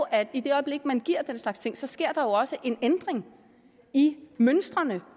at i det øjeblik man giver den slags ting sker der jo også en ændring i mønstrene